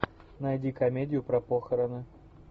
найди комедию про похороны